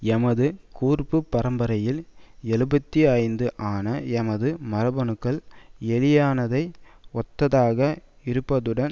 எமது கூர்ப்பு பரம்பரையியல் எழுபத்தி ஐந்து ஆன எமது மரபணுக்கள் எலியினதை ஒத்ததாக இருப்பதுடன்